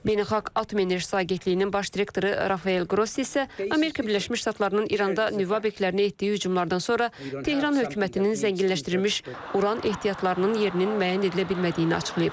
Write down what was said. Beynəlxalq Atom Enerjisi Agentliyinin baş direktoru Rafael Qrossi isə Amerika Birləşmiş Ştatlarının İranda nüvə obyektlərinə etdiyi hücumlardan sonra Tehran hökumətinin zənginləşdirilmiş uran ehtiyatlarının yerinin müəyyən edilə bilmədiyini açıqlayıb.